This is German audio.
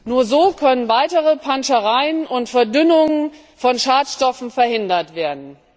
Nur so können weitere Panschereien und Verdünnungen von Schadstoffen verhindert werden.